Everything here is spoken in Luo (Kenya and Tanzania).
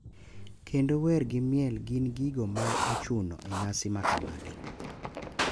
Kendo wer gi miel gin gigo ma ochuno e nyasi makamagi.